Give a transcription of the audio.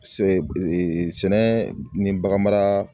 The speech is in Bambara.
Se ee sɛnɛ ni baganmara